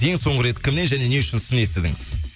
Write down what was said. ең соңғы рет кімнен және не үшін сын естідіңіз